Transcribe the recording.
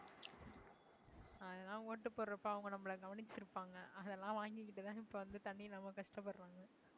அதெல்லாம் ஓட்டு போடறப்ப அவங்க நம்மளை கவனிச்சிருப்பாங்க அதெல்லாம் வாங்கிட்டுதான் இப்ப வந்து தண்ணி இல்லாம கஷ்டப்படறாங்க.